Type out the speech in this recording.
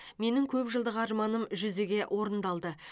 менің көпжылдық арманым жүзеге орындалды